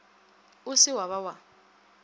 o se wa ba wa